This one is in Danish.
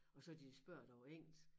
Og så de spørger dig på engelsk